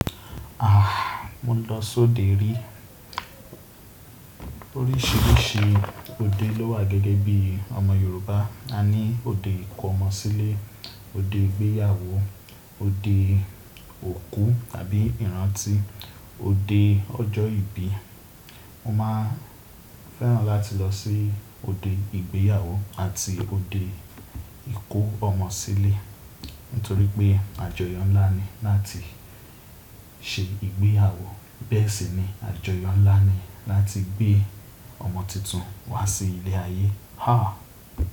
Ah! Mo n lọ sí òde rí. Orísìírísìí òde ló wà gẹ́gẹ́ bí ọmọ Yorùbá. A ní òde ìkọ ọmọ sílé, òde ìgbéyàwó, òde òkú tàbí ìrántí, òde ọjọ́ ìbí. Mo máa fẹ́ràn láti lọ sí òde ìgbéyàwó àti òde ìkó ọmọ sílé, nítorí pé àjọyọ̀ ńlá ni láti ṣe ìgbéyàwó, bẹ́ẹ̀ sì ni àjọyọ̀ ńlá ni láti gbé ọmọ tuntun wá sí ilé ayé. Ha!